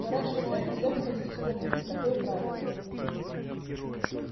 но раньше утра нельзя выходить из комнатки такое правило